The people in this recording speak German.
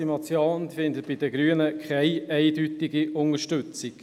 Die Motion findet bei den Grünen keine eindeutige Unterstützung.